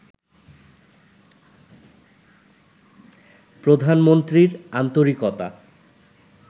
প্রধানমন্ত্রীর আন্তরিকতা